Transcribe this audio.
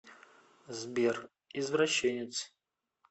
сбер извращенец